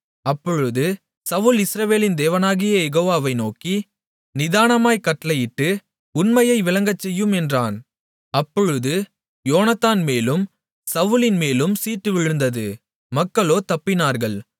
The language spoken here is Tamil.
அப்பொழுது சவுல் இஸ்ரவேலின் தேவனாகிய யெகோவா வை நோக்கி நிதானமாய்க் கட்டளையிட்டு உண்மையை விளங்கச்செய்யும் என்றான் அப்பொழுது யோனத்தான்மேலும் சவுலின்மேலும் சீட்டு விழுந்தது மக்களோ தப்பினார்கள்